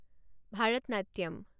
Bharatanatyam